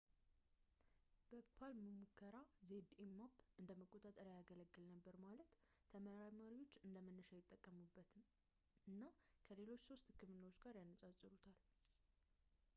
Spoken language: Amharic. በpalm ሙከራ፣ zmapp እንደ መቆጣጠሪያ ያገለግል ነበር፣ ማለት ተመራማሪዎች እንደ መነሻ ይጠቀሙበት እና ከሌሎች ሶስት ህክምናዎች ጋር ያነጻጽሩታል